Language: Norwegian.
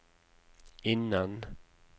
innen